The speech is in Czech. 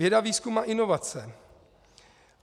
Věda, výzkum a inovace.